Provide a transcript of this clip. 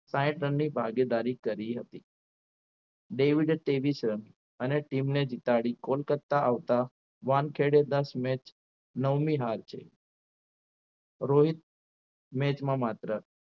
સાહીઠ રનની ભાગીદારી કરી હતી ડેવિડે ત્રેવીસ રન અને team ને જીતાડી કોલકાતા આપતા વાનખેડેદાસે match નવમી હાર છે રોહિત match માં માત્ર